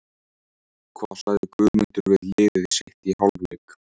Hvað sagði Guðmundur við liðið sitt í hálfleik?